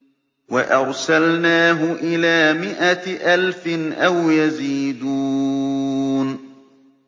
وَأَرْسَلْنَاهُ إِلَىٰ مِائَةِ أَلْفٍ أَوْ يَزِيدُونَ